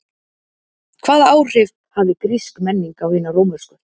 Hvaða áhrif hafði grísk menning á hina rómversku?